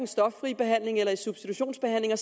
stoffri behandling eller i substitutionsbehandling